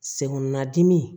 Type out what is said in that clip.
Sen kɔnɔ dimi